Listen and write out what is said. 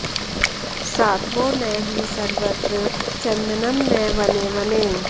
साधवो न हि सर्वत्र चन्दनं न वने वने